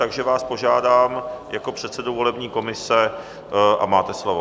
Takže vás požádám jako předsedu volební komise a máte slovo.